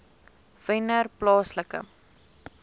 wennerplaaslike